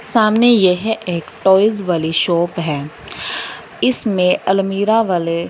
सामने यह एक टॉयज वाली शॉप है इसमें अलमीरा वाले--